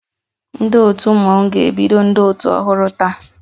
Ndị otu Mmọnwụ ga-ebido ndị otu ọhụrụ taa